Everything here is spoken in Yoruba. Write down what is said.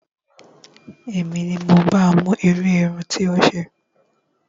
Èmi ni mo ba mú irú irun tí ó ṣe